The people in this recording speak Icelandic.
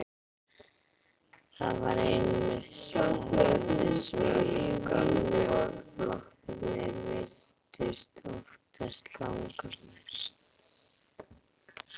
Það var einmitt slagorðið sem gömlu flokkarnir virtust óttast langmest.